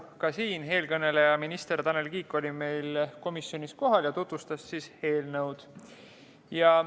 Siin eelkõneleja, minister Tanel Kiik oli meil ka komisjonis kohal ja tutvustas eelnõu.